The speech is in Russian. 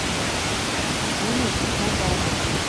димы назарова